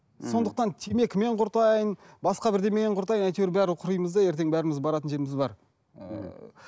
мхм сондықтан темекімен құртайын басқа бірдемемен құртайын әйтеуір бәрібір құримыз да ертең бәріміз баратын жеріміз бар ііі